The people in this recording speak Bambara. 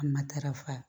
A matarafa